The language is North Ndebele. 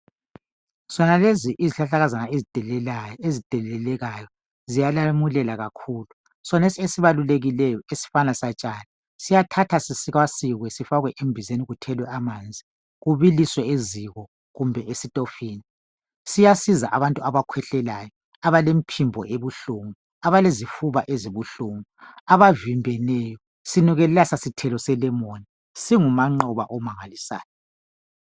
Zonalezi izihlahla kazana ezidelelekayo ziyalamulela kakhulu sonesi esibalulrkileyo esisatshani siyathathwa sisikasikwe sifakwe embizeni kuthelwe amanzi sibiliswe eziko kumbeni esitofini siyasiza abantu abakwehlelayo abalemphimbo ebuhlungu abalezifuba ezibuhlungu abavimbeneyo sinukelela sasithelo selemoni singumaqoba omangalisayo